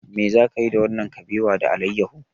Me za ki yi da wannan kabewa da alayyahu?